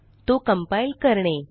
तो कंपाइल करणे